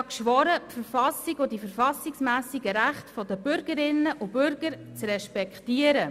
Ich habe geschworen, die Verfassung und die verfassungsmässigen Rechte der Bürgerinnen und Bürger zu respektieren.